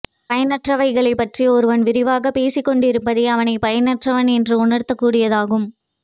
பயனற்றவைகளைப்பற்றி ஒருவன் விரிவாகப் பேசிக் கொண்டிருப்பதே அவனைப் பயனற்றவன் என்று உணர்த்தக் கூடியதாகும்